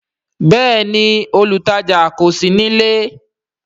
Bẹẹni, olutaja kò sí nílé